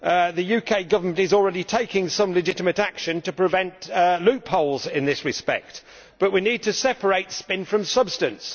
The UK Government is already taking some legitimate action to prevent loopholes in this respect, but we need to separate spin from substance.